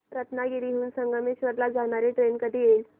रत्नागिरी हून संगमेश्वर ला जाणारी ट्रेन कधी येईल